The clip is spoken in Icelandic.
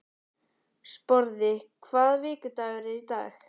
Sporði, hvaða vikudagur er í dag?